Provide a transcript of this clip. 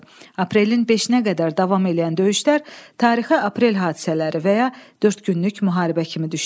Aprelin beşinə qədər davam eləyən döyüşlər tarixə aprel hadisələri və ya dörd günlük müharibə kimi düşdü.